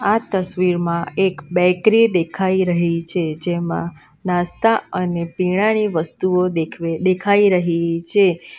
આ તસવીરમાં એક બેકરી દેખાઈ રહી છે જેમાં નાસ્તા અને પીણાની વસ્તુઓ દેખવે દેખાઈ રહી છે.